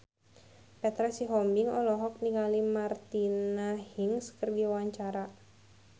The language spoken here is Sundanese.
Petra Sihombing olohok ningali Martina Hingis keur diwawancara